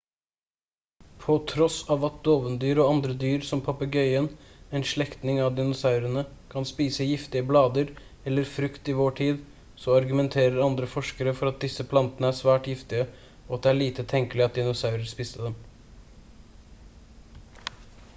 på tross av at dovendyr og andre dyr som papegøyen en slektning av dinosaurene kan spise giftige blader eller frukt i vår tid så argumenterer andre forskere for at disse plantene er svært giftige og at det er lite tenkelig at dinosaurer spiste dem